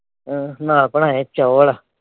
ਨਾਲ ਬਣਾਏ ਨੇ ਚੌਲ।